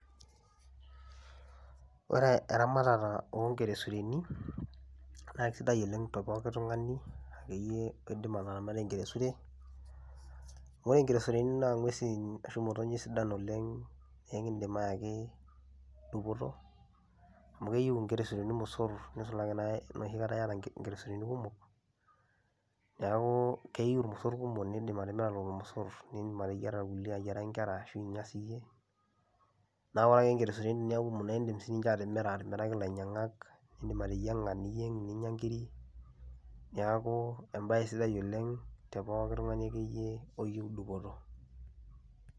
Ore eramatata oo nkeresureni naa kisidai oleng' te pookin tung'ani akeyie oidim ataramata enkeresure. Ore nkeresureni naa ng'uesin ashu motonyik sidan oleng' nee kiindim ayaki dupoto amu keyiu inkeresureni irmosor nisulaki naa enoshi kata iyata inkeresureni kumok. Neeku keyiu irmosor kumok niindim atimira lelo mosor nindim ateyiara irkulie ayiaraki nkera ashu inya siyie naa ore ake nkeresureni eneeku kumok naa iindim sininje atimira atimiraki ilainyang'ak, iindim ateyiang'a niyeng' ninya inkirik. Neeku embaye sidai oleng' te pooki tung'ani akeyie oyewuo dupoto.